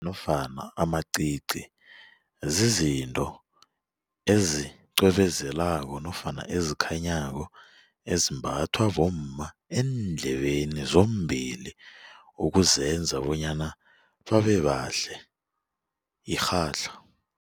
Nofana amacici zizinto ezicwebezelako nofana ezikhanyako ezimbathwa bomma eendlebeni zombili ukuzenza bonyana babebahle irhatlha.